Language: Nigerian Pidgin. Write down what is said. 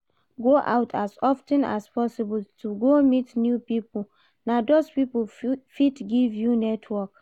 Go out as of ten as possible to go meet new pipo, na those pipo fit give you network